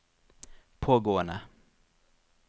pågående